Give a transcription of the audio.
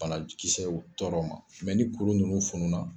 Banakisɛw tɔrɔ ma mɛ ni kuru ninnu fununa